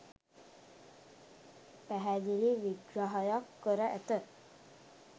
පැහැදිලි විග්‍රහයක් කර ඇත.